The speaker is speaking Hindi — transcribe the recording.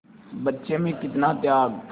बच्चे में कितना त्याग